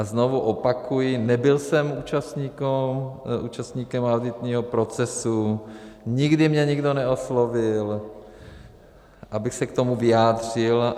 A znovu opakuji, nebyl jsem účastníkem auditního procesu, nikdy mě nikdo neoslovil, abych se k tomu vyjádřil.